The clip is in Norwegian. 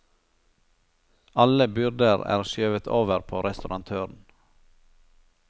Alle byrder er skjøvet over på restaurantøren.